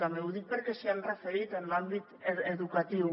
també ho dic perquè s’hi han referit a l’àmbit educatiu